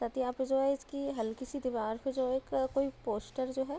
साथ ही यहाँ पे जो है इसकी हल्की सी दीवार पे जो एक कोई पोस्टर जो है --